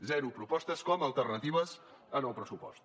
zero propostes com a alternatives al pressupost